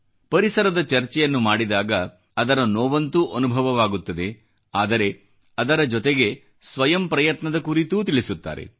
ಪರಿಸರದ ಚರ್ಚೆಯನ್ನು ಮಾಡಿದಾಗ ಅದರ ನೋವಂತೂ ಅನುಭವವಾಗುತ್ತದೆ ಆದರೆ ಅದರ ಜೊತೆಗೆ ಸ್ವಂತ ಪ್ರಯತ್ನದ ಕುರಿತೂ ತಿಳಿಸುತ್ತಾರೆ